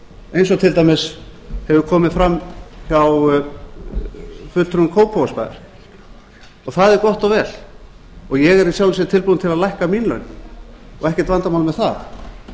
eins og til dæmis hefur komið fram hjá fulltrúum kópavogsbæjar og það er gott og vel og ég er í sjálfu sér tilbúinn til að lækka mín laun og ekkert vandamál með það